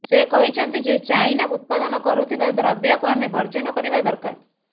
ସେ କହିଛନ୍ତି ଯେ ଚାଇନା ଉତ୍ପାଦନ କରୁଥିବା ଦ୍ରବ୍ୟକୁ ଆମେ ବର୍ଜନ କରିବା ଦରକାର